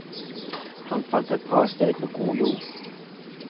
Han fant et bra sted med god jord.